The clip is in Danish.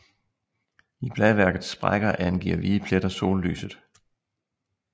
I bladværkets sprækker angiver hvide pletter sollyset